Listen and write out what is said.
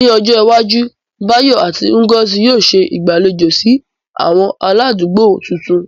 Ní ọjọ́ iwájú, Bayo àti Ngozi yóò ṣe ìgbàlejò sí àwọn aládùúgbò tuntun.